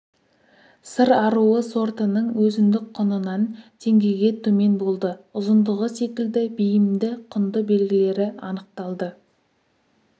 сыр аруы сортының өзіндік құнынан теңгеге төмен болды ұзындығы секілді бейімді құнды белгілері анықталды